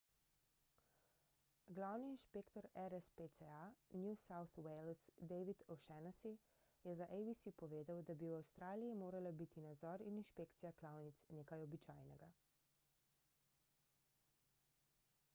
glavni inšpektor rspca new south wales david o'shannessy je za abc povedal da bi v avstraliji morala biti nadzor in inšpekcija klavnic nekaj običajnega